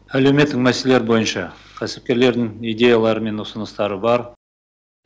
әлеуметтік мәселелер бойынша кәсіпкерлердің идеялары мен ұсыныстары бар